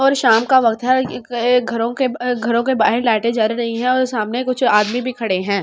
और शाम का वक्त हैं एक अ घरों के बअ घरों के बाहर लाइटे जल रही हैं और सामने कुछ आदमी भी खड़े हैं।